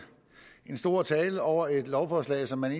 stor tale over et lovforslag som man